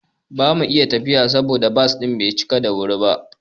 Ba mu tafiya ba saboda bas din bai cika da wuri ba.